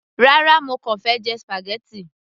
rárá, mo kàn fẹ́ jẹ spaghetti